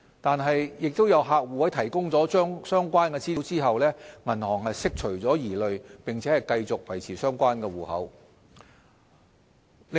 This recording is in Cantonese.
然而，亦有客戶在提供相關資料後，銀行釋除了疑慮並繼續維持相關戶口。